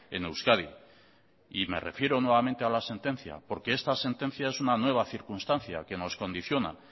en euskadi y me refiero nuevamente a la sentencia porque esta sentencia es una nueva circunstancia que nos condiciona